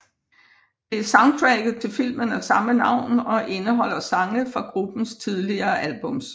Det er soundtracket til filmen af samme navn og indeholder sange fra gruppens tidligere albums